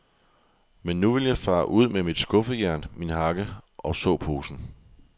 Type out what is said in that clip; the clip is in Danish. Men nu vil jeg fare ud med mit skuffejern, min hakke og såposen.